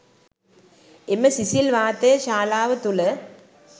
එම සිසිල් වාතය ශාලාව තුළ